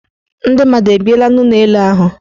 Ndị mmadụ ebiela n' ụlọelu ahụ?